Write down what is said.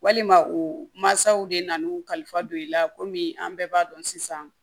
Walima u masaw de nana u ka kalifa don i la komi an bɛɛ b'a dɔn sisan